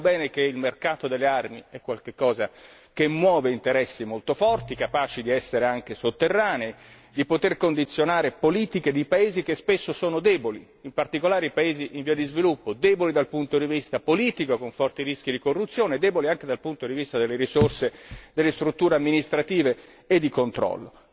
Sappiamo bene che il mercato delle armi è qualcosa che muove interessi molto forti, capaci di essere anche sotterranei, di poter condizionare politiche di paesi che spesso sono deboli, in particolare i paesi in via di sviluppo, deboli dal punto di vista politico, con forti rischi di corruzione, e deboli anche dal punto di vista delle risorse delle strutture amministrative e di controllo.